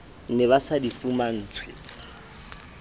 ne ba sa di fumantshwe